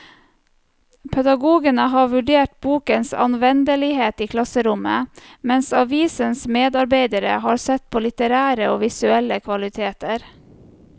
Pedagogene har vurdert bokens anvendelighet i klasserommet, mens avisens medarbeidere har sett på litterære og visuelle kvaliteter.